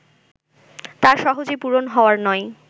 তা সহজে পূরণ হওয়ার নয়